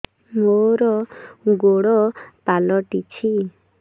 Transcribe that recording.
ମୋର ଗୋଡ଼ ପାଲଟିଛି